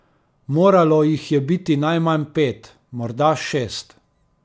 Moralo jih je biti najmanj pet, morda šest.